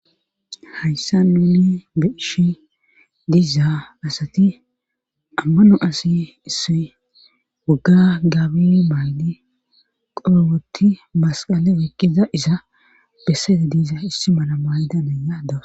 hayssa nuuni beishi diiza asati ammano asi issoy wogga gaabili maaldi qorowotti masqale woykkiza isa besseeda diiza issi mala maayidanaya dawus